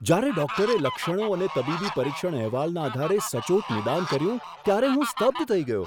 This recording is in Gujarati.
જ્યારે ડૉક્ટરે લક્ષણો અને તબીબી પરીક્ષણ અહેવાલના આધારે સચોટ નિદાન કર્યું ત્યારે હું સ્તબ્ધ થઈ ગયો!